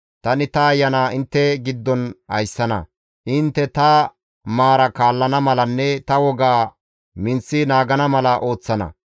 Tani ta Ayana intte giddon ayssana; intte ta maaraa kaallana malanne ta wogaa minththi naagana mala ooththana.